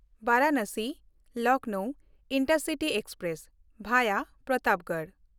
ᱵᱟᱨᱟᱱᱟᱥᱤ-ᱞᱚᱠᱷᱱᱚᱣ intercity express (ᱵᱷᱟᱭᱟ Pratapgarh)